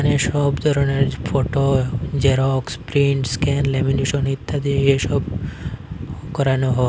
এখানে সব ধরনের photo xerox print scan lamination ইত্যাদি এসব করানো হ--